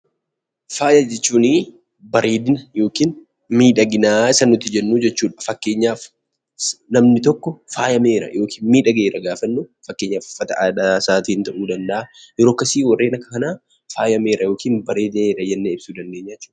Faaya jechuun bareedina yookiin miidhagina isa nuti jennuu jechuudha. Fakkeenyaaf namni tokko faayameera yookiin miidhageera gaafa jennu, fakkeenyaaf uffata aadaasaatiin ta'uu danda'a, yeroo akkasii warreen akka kanaa faayameera jennee ibsuu dandeenya jechuudha.